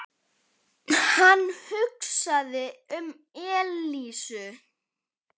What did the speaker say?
Hann hugsaði um Elísu.